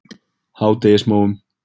Hádegismóum